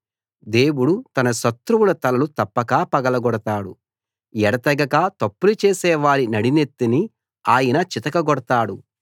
దేవుడు తన శత్రువుల తలలు తప్పక పగలగొడతాడు ఎడతెగక తప్పులు చేసేవారి నడినెత్తిని ఆయన చితకగొడతాడు